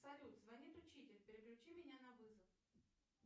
салют звонит учитель переключи меня на вызов